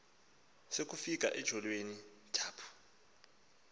sakufika etyholweni thaphu